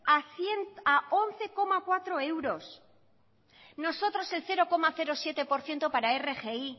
a once coma cuatro euros nosotros el cero coma siete por ciento para rgi